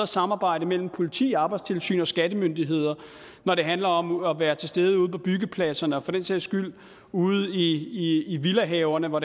samarbejde mellem politiet arbejdstilsynet og skattemyndighederne når det handler om at være til stede ude på byggepladserne og for den sags skyld ude i villahaverne hvor